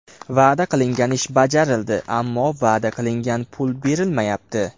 Va’da qilingan ish bajarildi, ammo va’da qilingan pul berilmayapti.